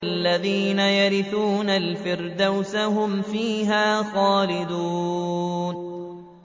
الَّذِينَ يَرِثُونَ الْفِرْدَوْسَ هُمْ فِيهَا خَالِدُونَ